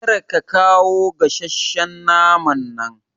Kar ka kawa gasasshen naman nan